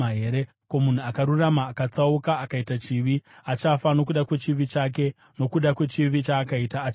Kana munhu akarurama akatsauka akaita chivi, achafa nokuda kwechivi chake; nokuda kwechivi chaakaita achafa.